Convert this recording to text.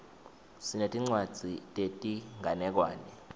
sinetincwadzi tetinganekwane